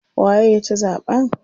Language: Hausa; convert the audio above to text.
Waye ya ci zaɓen?